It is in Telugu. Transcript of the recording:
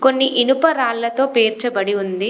కొన్ని ఇనుప రాళ్ళతో పేర్చబడి ఉంది.